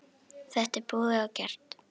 Þetta er búið og gert.